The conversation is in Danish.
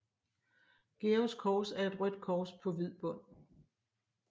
Georgs Kors er et rødt kors på hvid bund